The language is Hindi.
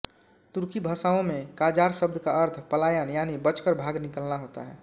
तुर्की भाषाओँ में क़ाजार शब्द का अर्थ पलायन यानि बचकर भाग निकलना होता है